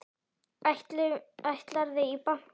Ætlarðu í bankann?